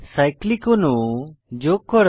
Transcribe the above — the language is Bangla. সাইক্লিক অণু যোগ করা